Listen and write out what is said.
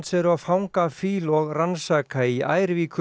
eru að fanga fýl og rannsaka í